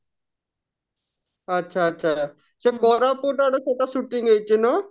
ଆଚ୍ଛା ଆଚ୍ଛା ସେ କୋରାପୁଟ ଆଡେ ସେଟା shooting ହେଇଛି ନା?